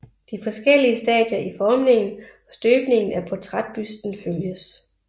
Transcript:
De forskellige stadier i formningen og støbningen af portrætbusten følges